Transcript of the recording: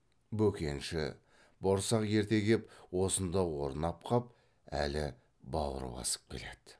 бөкенші борсақ ерте кеп осында орнап қап әлі бауыр басып келеді